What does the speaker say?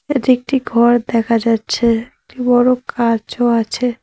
এটি একটি ঘর দেখা যাচ্ছে একটি বড় কাঁচও আছে।